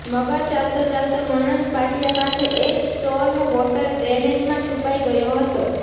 મગર ચાલતો ચાલતો વળાંક પાટિયા પાસે એક સ્ટોર્મ વોટર ડ્રેનેજમાં છુપાઇ ગયો હતો